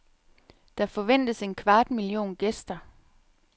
Der forventes en kvart million gæster.